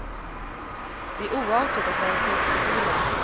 Det är oartigt att vara tyst i bilen.